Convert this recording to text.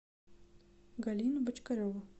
галину бочкареву